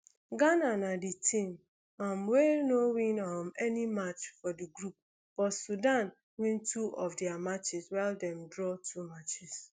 ghana na di team um wey no win um any match for di group but sudan win two of dia matches while dem draw two matches